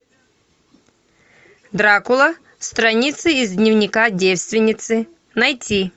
дракула страницы из дневника девственницы найти